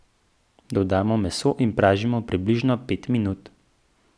Dodamo meso in pražimo približno pet minut.